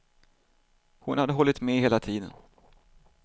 Hon hade hållit med hela tiden.